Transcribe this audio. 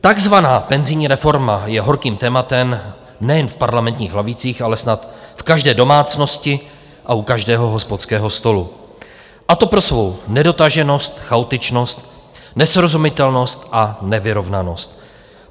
Takzvaná penzijní reforma je horkým tématem nejen v parlamentních lavicích, ale snad v každé domácnosti a u každého hospodského stolu, a to pro svou nedotaženost, chaotičnost, nesrozumitelnost a nevyrovnanost.